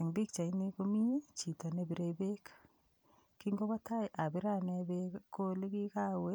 Eng' pikchaini komi chito nepirei beek kingobo tai abire ane beek ko oli kikawe